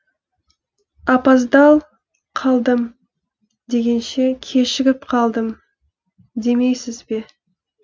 апаздал қалдым дегенше кешігіп қалдым демейсіз бе